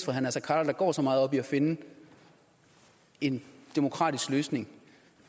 herre naser khader der går så meget op i at finde en demokratisk løsning